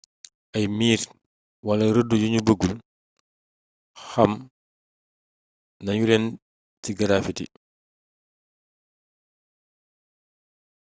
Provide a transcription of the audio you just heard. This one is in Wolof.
ay miir wala rëdd yu ñu bëggul xam nañuleen ci graffiti